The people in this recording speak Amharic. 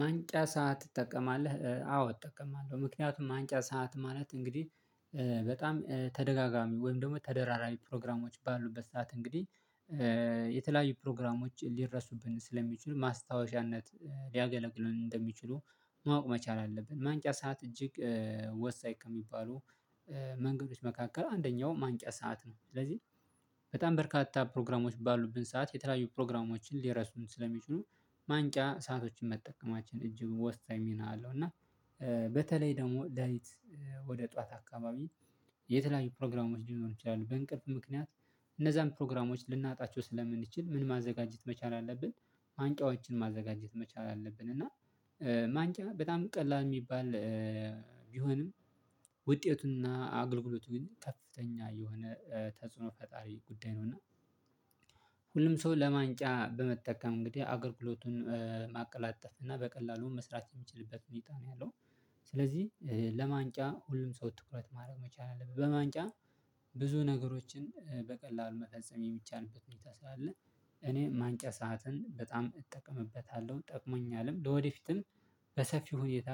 ማንቂያ ሰዓት ትጠቀማለህ? አዎ እጠቀማለሁ ምክንያቱም ማንቂያ ሰዓት ማለት እንግዲህ በጣም ተደጋጋሚ ወይም ደግሞ ተደራራቢ ፕሮግራሞች ባሉበት ሰዓት እንግዲህ የተለያዩ ፕሮግራሞች ሊረሱብን ስለሚችሉ ማስታወሻነት ሊያገለግሉን እንደሚችሉ ማወቅ መቻል አለብን። ማንቂያ ሰዓት እጅግ ወሳኝ ከሚባሉ መንገዶች መካከል አንደኛው ማንቂያ ሰዓት ነው። ስለዚህ በጣም በርካታ ፕሮግራሞች ባሉብን ሰዓት የተለያዩ ፕሮግራሞችን ሊረሱን ስለሚችሉ ማንቂያ ሰአቶችን መጠቀማችን እጅግ ወሳኝ ሚና አለው። እና በተለይ ደግሞ ለሊት ወደ ጥዋት አካባቢ የተለያዩ ፕሮግራሞች ሊኖሩ ይችላሉ በእንቅልፍ ምክንያት እነዛን ፕሮግራሞች ልናጣቸው ስለምንችል ምን ማዘጋጀት መቻል አለብን ማንቂያዎችን ማዘጋጀት መቻል አለብን። እና ማንቂያ በጣም ቀላል እሚባል ቢሆንም ውጤቱና አገልግሎቱ ግን ከፍተኛ የሆነ ተጽዕኖ ፈጣሪ ጉዳይ ነው። እና ሁሉም ሰው ለማንቂያ በመጠቀም እንግዲህ አገልግሎቱን ማቀላጠፍ እና በቀላሉ መስራት እሚችልበት ሁኔታ ነው ያለው። ስለዚህ ለማንቂያ ሁሉም ሰው ትኩረት ማድረግ መቻል አለብት። በማንቂያ ብዙ ነገሮችን በቀላሉ መፈጸም የሚቻልበት ሁኔታ ስላለ እኔ ማንቂያ ሰዓትን በጣም እጠቀምበታለሁ ጠቅሞኛልም። ለወደፊትም በሰፊው ሁኔታ